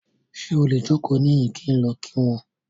Ṣe o le joko nihin ki n lọ ki wọn ki wọn?